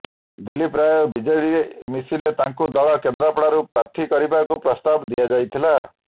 Dilip Ray BJD ମିଶିଲେ ତାଙ୍କୁ ଦଳ କେନ୍ଦ୍ରାପଡ଼ାରୁ ପ୍ରାର୍ଥୀ କରିବାକୁ ପ୍ରସ୍ତାବ ଦିଆଯାଇଥିଲା